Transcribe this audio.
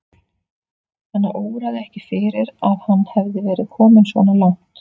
Hana óraði ekki fyrir að hann hefði verið kominn svona langt.